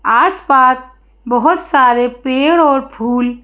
आस-पास बहोत सारे पेड़ और फूल --